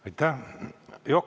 Aitäh!